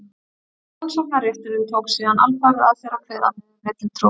rannsóknarrétturinn tók síðan alfarið að sér að kveða niður villutrú